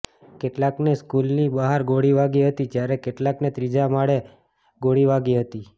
કેટલાકને સ્કુલની બહાર ગોળી વાગી હતી જ્યારે કેટલાકને ત્રીજા માળે ગોળી વાગી હતી